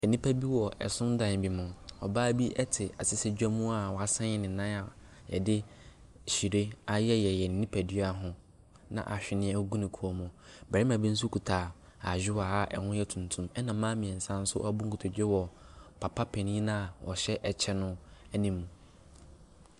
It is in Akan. Nnipa bi wɔ ɛsomdan bi mu. Ɔbaa bi ɛte asɛsɛdwa mu a wasen ne nan de hyire ayeyɛyeyɛ ne nipadua ho na ahweneɛ gu ne kɔn mu. Barima bi nso kuta ayowa a ɛho yɛ tuntum ɛnna mmaa mmiɛnsa nso abu nkotodwe wɔ papa panin no a ɔhyɛ ɛkyɛ no anim.